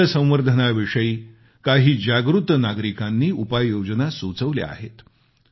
जलसंवर्धनाविषयी काही जागृत नागरिकांनी उपाययोजना सुचवल्या आहेत